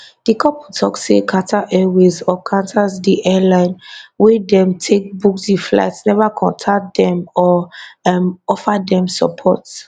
di couple tok say qatar airways or qantas di airline wey dem take book di flight neva contact dem or um offer dem support